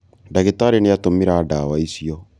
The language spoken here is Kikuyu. ndagĩtarĩ nĩatũmĩra ndawa icio